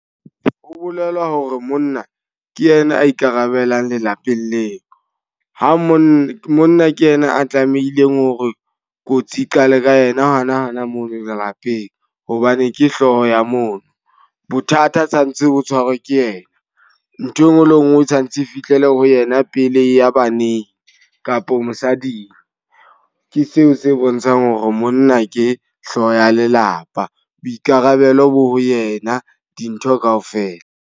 Ho bolela hore monna ke yena a ikarabellang lelapeng leo. Ha monna, monna ke yena a tlamehileng hore kotsi e qale ka yena hana hana moo lelapeng. Hobane ke hloho ya mono, bothata tsa ntse bo tshwarwe ke yena. Nthwe nngwe le e nngwe e santse e fihlele ho yena pele e ya baneng kapo mosading. Ke seo se bontshang hore monna ke hlooho ya lelapa, boikarabelo bo ho yena dintho ka ofela.